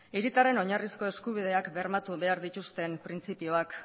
hiritarren oinarrizko eskubideak bermatu behar dituzten printzipioak